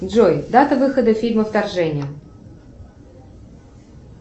джой дата выхода фильма вторжение